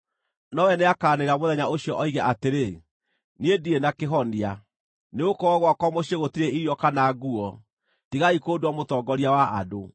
Nowe nĩakaanĩrĩra mũthenya ũcio oige atĩrĩ, “Niĩ ndirĩ na kĩhonia. Nĩgũkorwo gwakwa mũciĩ gũtirĩ irio kana nguo, tigai kũndua mũtongoria wa andũ.”